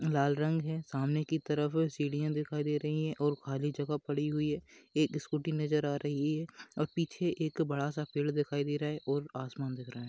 लाल रंग है सामने की तरफ सीढ़ियां दिखाई दे रही हैं और खाली जगह पड़ी हुई है। एक स्कूटी नजर आ रही है और पीछे एक बड़ा-सा पेड़ दिखाई दे रहा है और आसमान दिख रहा है।